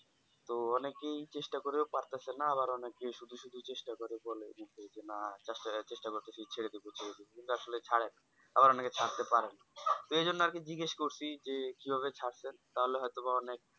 তো অনেকেই চেষ্টা করে পারতাছেন আর অনেকেই শুধু শুধু চেষ্টা করে বলে যে কি না চেষ্টা করতাছি ছেড়ে দেব কিন্তু আসলে ছারে না আবার অনেকে ছাড়তে পারে না তো ওই জন্য আরকি জিজ্ঞেস করছি আরকি যে কিভাবে ছাড়তে পারলে হয়তোবা অনেক